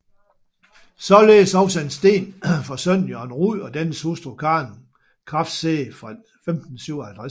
Således også en sten for sønnen Jørgen Rud og dennes hustru Karen Krafse fra 1557